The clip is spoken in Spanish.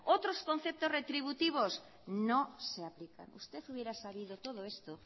otros conceptos retributivos no se aplican usted hubiera sabido todo esto